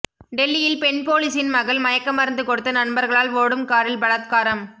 டெல்லியில் பெண் போலீஸின் மகள் மயக்க மருந்து கொடுத்து நண்பர்களால் ஓடும் காரில் பலாத்காரம்